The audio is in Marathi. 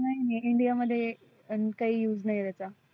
नाही नाही India मध्ये आन काही use नाहीए त्याचा.